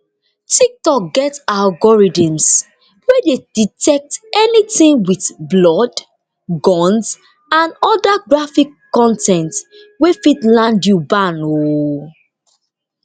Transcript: tiktok get algorithms wey dey detect anytin wit blood guns and oda graphic con ten t wey fit land you ban um